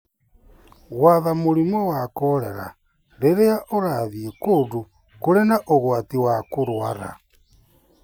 Gwatha mũrimũ wa kolera rĩrĩa ũrathiĩ kũndũ kũrĩ na ũgwati wa kũrũara.